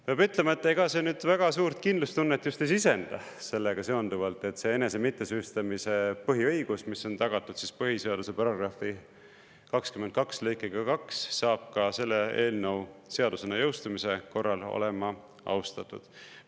Peab ütlema, et ega see nüüd väga suurt kindlustunnet just ei sisenda sellega seonduvalt, et see enese mittesüüstamise põhiõigus, mis on tagatud põhiseaduse § 22 lõikega 2, saab ka selle eelnõu seadusena jõustumise korral olema austatud.